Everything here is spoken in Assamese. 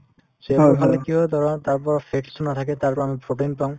ফল খালে কি হয় ধৰা তাৰপৰা fats তো নাথাকে তাৰপৰা আমি protein পাম